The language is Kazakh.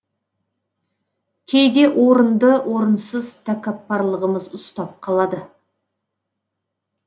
кейде орынды орынсыз тәкаппарлығымыз ұстап қалады